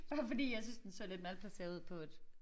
Bare fordi jeg syntes den så lidt malplaceret ud på et